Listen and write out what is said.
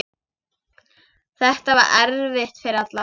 Þetta var erfitt fyrir alla.